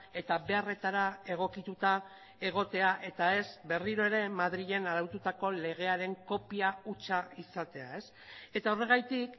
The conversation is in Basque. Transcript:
eta beharretara egokituta egotea eta ez berriro ere madrilen araututako legearen kopia hutsa izatea eta horregatik